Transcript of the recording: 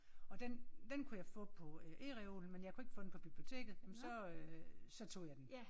Og den den kunne jeg få på ereolen men jeg kunne ikke få den på biblioteket jamen så øh så tog jeg den